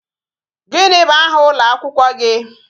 Gini bụ aha ụlọ akwụkwọ gị?